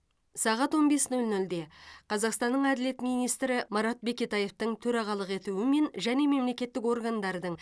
сағат он бес нөл нөлде қазақстанның әділет министрі марат бекетаевтың төрағалық етуімен және мемлекеттік органдардың